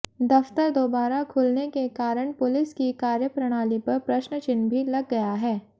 दफ्तर दोबारा खुलने के कारण पुलिस की कार्यप्रणाली पर प्रश्नचिन्ह भी लग गया है